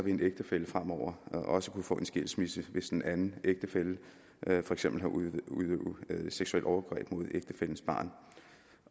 en ægtefælle fremover også kunne få en skilsmisse hvis den anden ægtefælle for eksempel har udøvet seksuelt overgreb mod ægtefællens barn